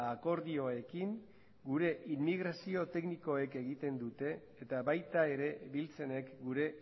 akordioekin gure immigrazio teknikoek egiten dute eta baita ere biltzenek gure